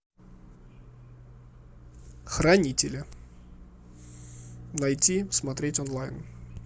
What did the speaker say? хранители найти смотреть онлайн